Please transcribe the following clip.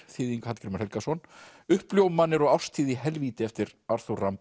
þýðing Hallgrímur Helgason uppljómanir og árstíð í helvíti eftir